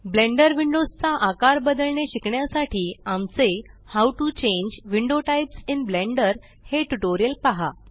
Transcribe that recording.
blender windows चा आकार बदलणे शिकण्यासाठी आमचे how to change window types in Blender हे ट्यूटोरियल पहा